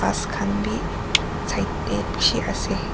ghas khan bhi side dae beshi ase.